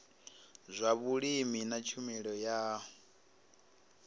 zwa vhulimi na tshumelo ya